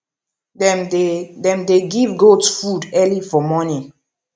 dem dey dem dey give goat food early for morning